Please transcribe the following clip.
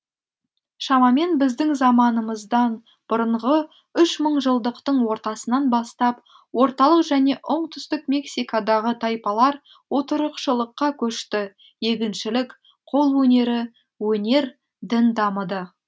шамамен біздің заманымыздан бұрынғы үш мыңжылдықтың ортасынан бастап орталық және оңтүстік мексикадағы тайпалар отырықшылыққа көшті егіншілік қол өнері өнер дін дамыды